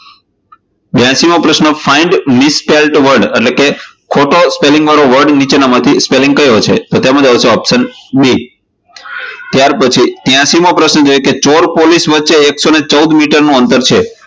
બ્યાશી મો પ્રશ્ન find misfelt word એટલે કે ખોટો સ્પેલિંગ વાળો word નીચેનામાંથી કયો સપેલિંગ હસે? તો તેમાં જવાબ આવશે option b. ત્યારપછી ત્યાશી મો પ્રશ્ન છે કે ચોર પોલીસ વચ્ચે એકસો ચૌદ મીટર નું અંતર છે.